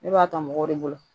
Ne b'a ta mɔgɔw de bolo